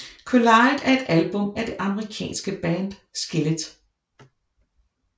Collide er et album af det amerikanske band Skillet